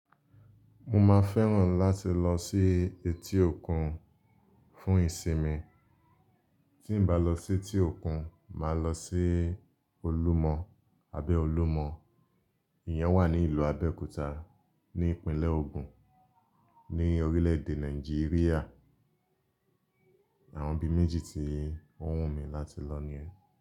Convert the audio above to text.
Mo máa fẹ́ràn láti lọ sí etí òkun fún ìsinmi. Tí m bá lọ sí etí òkun, màá lọ sí Olúmọ abẹ́ Olúmọ. Ìyẹn wà ní ìlú Abẹ́òkúta ní ìpínlẹ̀ Ògùn ní orílẹ̀ èdè Nàìjíríà. Àwọn ibi méjì tí o wùn mi lati lọ ni.